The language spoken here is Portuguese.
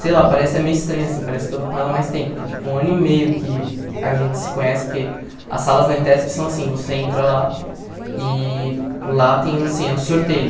Sei lá, parece até meio estranho assim, parece que eu estou com ela há mais tempo, porque é tipo um ano e meio que a gente se conhece, porque as salas na ETESP são assim, você entra lá e lá tem assim um sorteio.